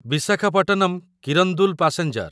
Visakhapatnam Kirandul passenger